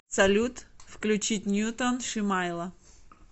салют включить ньютон шимайла